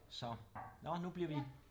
Så når nu bliver vi